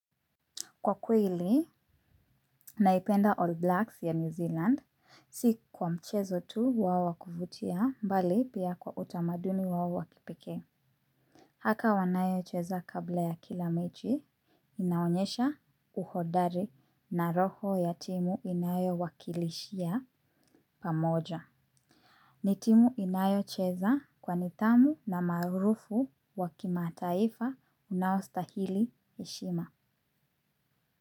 Kwa kweli, naipenda All Blacks ya New Zealand, si kwa mchezo tu wao wa kuvutia mbali pia kwa utamaduni wao wa kipekee. Haka wanayocheza kabla ya kila mechi inaonyesha uhodari na roho ya timu inayowakilishia pamoja. Ni timu inayocheza kwa nidhamu na maarufu wa kimataifa unaostahili heshima.